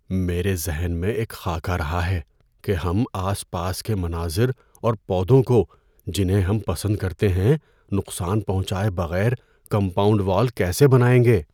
میرے ذہن میں ایک خاکہ رہا ہے کہ ہم آس پاس کے مناظر اور پودوں کو، جنہیں ہم پسند کرتے ہیں، نقصان پہنچائے بغیر کمپاؤنڈ وال کیسے بنائیں گے۔